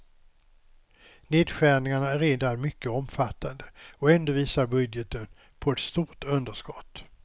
Nedskärningarna är redan mycket omfattande och ändå visar budgeten på ett stort underskott.